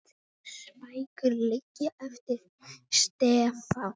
Sex bækur liggja eftir Stefán